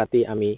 পাতি আমি